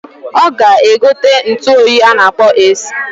Oga egote ntuoyi a na-akpọ AC.